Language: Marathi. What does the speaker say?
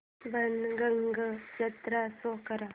बाणगंगा जत्रा शो कर